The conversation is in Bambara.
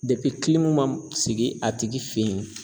man sigi a tigi fɛ yen.